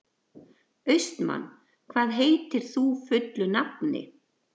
Austmann, hvað heitir þú fullu nafni?